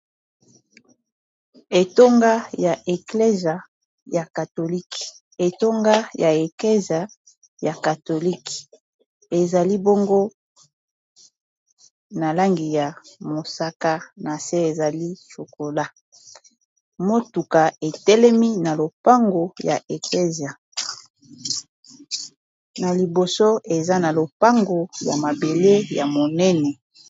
etonga ya eclesie ya katholike etonga ya eclese ya katholike ezali bongo na langi ya mosaka na se ezali cokola motuka etelemi na lopango ya eclesie na liboso eza na lopango ya mabele ya monene